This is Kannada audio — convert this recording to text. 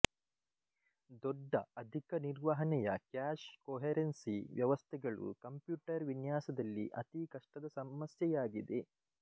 ದೊಡ್ಡಅಧಿಕ ನಿರ್ವಹಣೆಯ ಕ್ಯಾಶ್ ಕೊಹೆರೆನ್ಸಿ ವ್ಯವಸ್ಥೆಗಳು ಕಂಪ್ಯೂಟರ್ ವಿನ್ಯಾಸದಲ್ಲಿ ಅತೀ ಕಷ್ಟದ ಸಮಸ್ಯೆಯಾಗಿದೆ